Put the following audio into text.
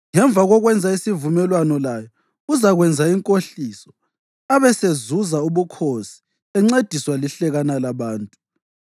Ngemva kokwenza isivumelwano layo uzakwenza inkohliso abesezuza ubukhosi encediswa lihlekana labantu.